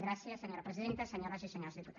gràcies senyora presidenta senyores i senyors diputats